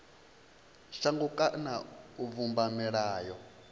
shango kana u vhumba milayo